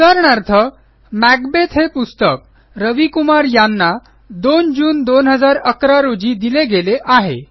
उदाहरणार्थ मॅकबेथ हे पुस्तक रवी कुमार यांना २जून २०११ रोजी दिले गेले आहे